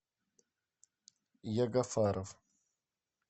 ягафаров